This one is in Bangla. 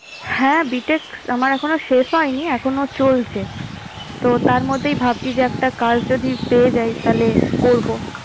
হ্যাঁ, BTech আমার এখনো শেষ হয়নি। এখনো চলছে। তো তার মধ্যেই ভাবছি যে একটা কাজ যদি পেয়ে যাই, তাহলে করবো।